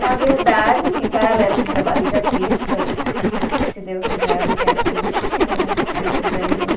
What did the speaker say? Na verdade, assim, paralelo com o trabalho de atriz, que eu, que se Deus quiser eu não quero desistir nunca, se Deus quiser e eu.